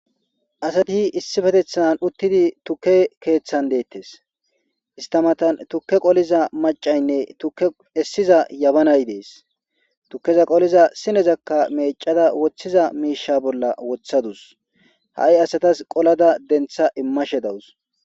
asatii issifetethan uttidi tukke keeththan deettes ista matan tukke qoliza macaynne tukke essiza yabanay dees tukkeza qoliza sinezakka meecada woththiza miisha bolla wothadus ha'i asatas qolada dentha immashe dawus